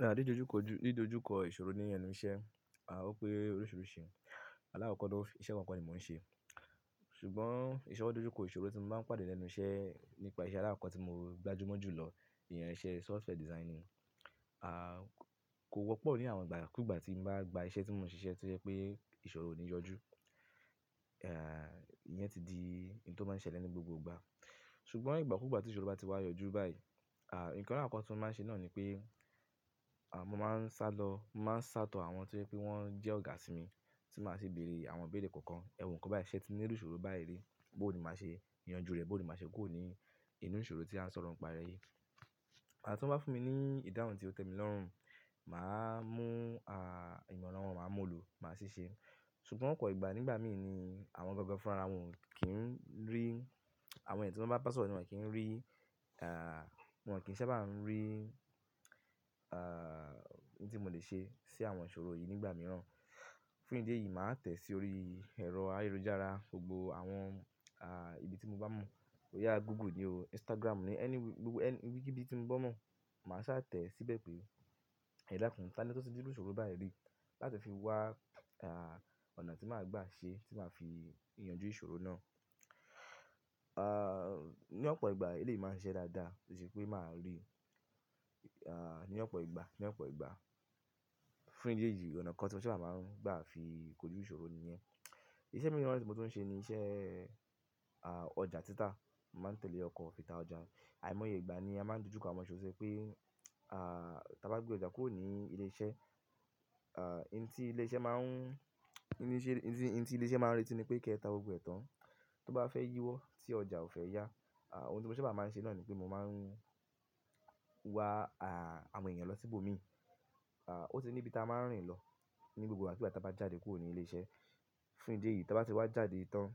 Rárá, dído ojú kọ ìṣòro ní enú iṣẹ́. O pé oríṣiríṣi alákoko na, iṣẹ́ kan kọ́ ni mò ń ṣe. Ṣùgbọ́n ìṣi wo ìṣòro tí mo má pàdé lẹ́nu iṣẹ́ nípa iṣẹ́ aláàkọ́ tí mo gbajúmọ̀ jù lọ, ìyan iṣẹ́ software designing. Kò wọ́pọ̀ ní àwọn ìgbà kúgbà tí mo bá gba iṣẹ́ tí mò ń ṣi ṣẹ́ tí ẹ ìṣòro ò ní yọjú. Ìyẹn ti di ohun tó máa ń ṣẹlẹ̀ ní gbogbo ìgbà. Ṣùgbọ́n ìgbà kúgbà tí ìṣòro bá ti wá yọjú báyìí, nǹkan aláàkoko tí mo máa ń ṣe náà ni pé, mo máa ń sátọ àwọn tío jẹ pé wọ́n jẹ́ ọ̀gá sí mi tí màá ṣi bèrè àwọn ìbéèrè kankan. Ẹ̀wọ̀n ǹkan báyìí, ṣẹ́ tí ní irubṣòro báyìí rí, bó ni màá ṣe yanjú rẹ̀, bó ni màá ṣe kuròní inú ìṣòro tí a ń sọ̀rọ̀ ń pa e yìí. Ìgbàtí tí wọ́n bá fún mi ní ìdáhùn tí ó tẹ́ mi lọ́rùn, màá mú ìmọ̀ran wọn, màá mú òòlù, màá ṣiṣẹ́. Ṣùgbọ́n ọ̀pọ̀ ìgbà nígbà mìí ni àwọn gangan fún rárá wọn ò kí ń rí, àwọn ènìyàn tí wọ́n bá bà sọ̀rọ̀ ni wò kí ń rí. Wọn ò kí ń ṣa bá n rí, ohun tí mo lè ṣe sí àwọn ìṣòro yìí nígbà mìíràn. Fún ìdí èyí, màá tẹ̀ sí orí ẹ̀rọ ayélujára, gbogbo àwọn, ibi tí mo bá mọ̀. E yá Google ni o, Instagram ni, anyone, gbogbo ibikíbi, tí mo bá mọ̀, màá sá tẹ̀ síbẹ̀ bé ẹ dákùn, táni otuti rí irú ìṣòro báyìí rí, láti fi wá anà tí màá gbà ṣe latí màá fi yanjú ìṣòro náà. Ní ọ̀pọ̀ ìgbà eléyi máa ń ṣiṣẹ́ dáadáa torí pé màá rí, ní ọ̀pọ̀ ìgbà, ní ọ̀pọ̀ ìgbà. Fún ìdí èyí, ọ̀nà kan tí mo ṣa bá máa ń gbà fi kojú ìṣòro nìyẹn. Iṣẹ́ mìíràn tí mo tún ń ṣe ni iṣẹ́, ọjà títà. Mo máa ń tẹ̀lé ọkọ̀ ìta ọjà. Àì mọye ìgbà ni a máa ń dojú kọ àwọ́n ìṣòro tó jẹ́ pé, tí a bá gbé ọjà kúrò ní ilé iṣẹ́, ein tí ilé iṣẹ́ máa ń, ein tí ilé iṣẹ́ máa ń re ti ní pé kí ẹ ta gbogbo ẹ̀tàn, tó bá fẹ́ yíwọ́ tí ọjà ò fẹ́ yá. Ohun tí mo ṣa bá máa ń ṣe náà ni pé mo máa ń wá àwọn ènìyàn lọ síbò mi. Ó ti ní ibi tí a máa ń rìn lọ ní gbogbo ìgbàkígbà tí a bá jáde kúrò ní ilé iṣẹ́. Fún ìdí èyí, tí a bá ti wá jáde tán,